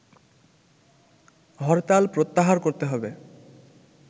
হরতাল প্রত্যাহার করতে হবে